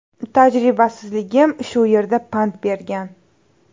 Tajribasizligim shu yerda pand bergan.